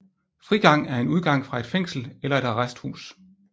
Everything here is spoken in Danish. Frigang er en udgang fra et fængsel eller et arresthus